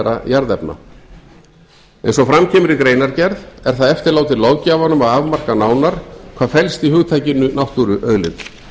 hagnýtanlegra jarðefna eins og fram kemur í greinargerð er það eftirlátið löggjafanum að afmarka nánar hvað felst í hugtakinu náttúruauðlind